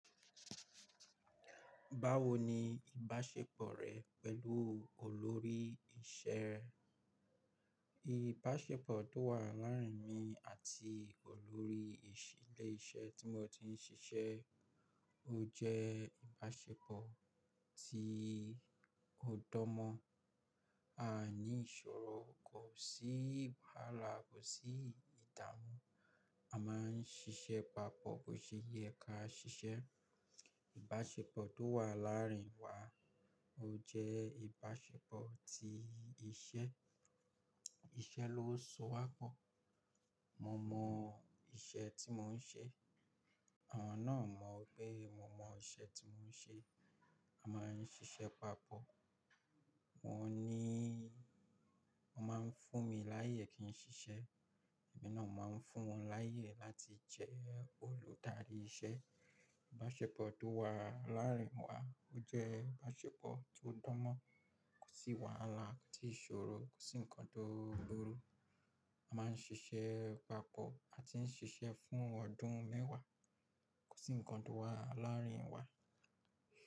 Báwo ni ìbáṣepọ̀ rẹ pẹ̀lú olórí isẹ ẹ? Ìbáṣepọ̀ tó wà láàrin mi àti olórí ìṣílè iṣẹ́ tí mo ti ń ṣiṣẹ́ ó jẹ́ ìbáṣepọ̀ tí ó dọ́mọ. A ní ìṣòro, kò sí wàhálà, kò sí ìdààmú. A máa ń ṣiṣẹ́ papọ̀ bó ṣe yẹ ká ṣiṣẹ́. Ìbáṣepọ̀ tó wà láàrin wa ó jẹ́ ìbáṣepọ̀ ti iṣẹ́. Iṣẹ́ ló so wa pọ̀. Mo mọ iṣẹ́ tí mò ń ṣe, wọn náà mọ pé mo mọ iṣẹ́ tí mò ń ṣe. A máa ń ṣiṣẹ́ papọ̀. Wọ́n níí Wọ́n máa ń fún mi láìyẹ̀ kí n ṣiṣẹ́, èmi náà máa ń fún wọn láìyẹ̀ láti jẹ́ olùdarí iṣẹ́. Ìbáṣepọ̀ tó wà láàrin wa ó jẹ́ ìbáṣepọ̀ tó dọ́mọ, kò sí wàhálà, kò sí ìṣòro, kò sí nǹkan tó burú. A máa ń ṣiṣẹ́ papọ̀, a ti ń ṣiṣẹ́ fún ọdún mẹ́wàá, kò sí nǹkan tó wà láàrin wa.